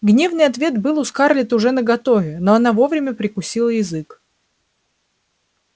гневный ответ был у скарлетт уже наготове но она вовремя прикусила язык